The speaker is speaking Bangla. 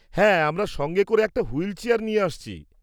-হ্যাঁ, আমরা সঙ্গে করে একটা হুইলচেয়ার নিয়ে আসছি।